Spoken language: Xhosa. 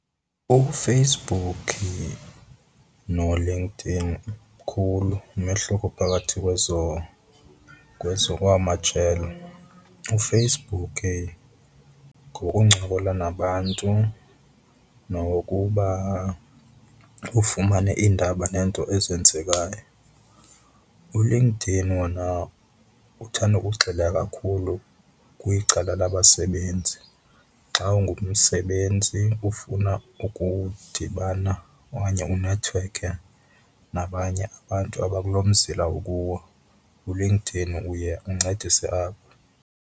UFacebook noLinkedIn mkhulu umehluko phakathi kwezo, kwezo kwamajelo. UFacebook ngowokuncokola nabantu nokokuba ufumane iindaba neento ezenzekayo. ULinkedIn wona uthanda ukugxila kakhulu kwicala labasebenzi. Xa ungumsebenzi ufuna ukudibana okanye unethiwekhe nabanye abantu abakulo mzila ukuwo, uLinkedIn uye uncedise apho.